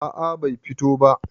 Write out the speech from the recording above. a a Bai fito ba